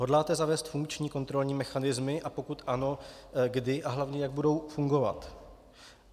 Hodláte zavést funkční kontrolní mechanismy, a pokud ano, kdy a hlavně jak budou fungovat?